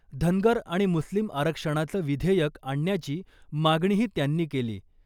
धनगर आणि मुस्लिम आरक्षणाचं विधेयक आणण्याची मागणीही त्यांनी केली .